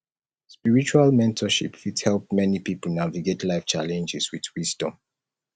spiritual mentorship fit help many pipo navigate life challenges with wisdom